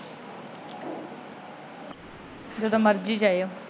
ਜਦੋ ਮਰਜ਼ੀ ਜਾਇਓ।